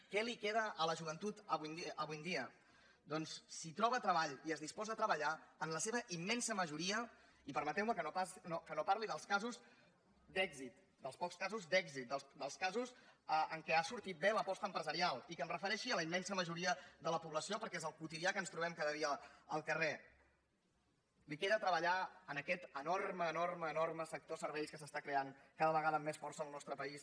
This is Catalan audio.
què li queda a la joventut avui en dia doncs si troba treball i es disposa a treballar en la seva immensa majoria i permeteu me que no parli dels casos d’èxit dels pocs casos d’èxit dels casos en què ha sortit bé l’aposta empresarial i que em refereixi a la immensa majoria de la població perquè és el quotidià que ens trobem cada dia al carrer li queda treballar en aquest enorme enorme enorme sector serveis que s’està creant cada vegada amb més força al nostre país